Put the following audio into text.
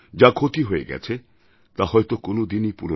যা ক্ষতি হয়ে গেছে তা হয়তো কোনও দিনই